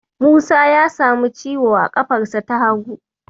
Musa ya samu ciwo a ƙafarsa ta hagu.